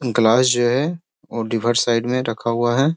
Glass जो है वो साइड में रखा हुआ है।